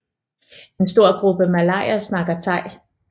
En stor gruppe malayer snakker thai